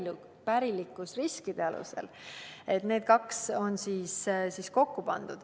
on need kaks kokku pandud.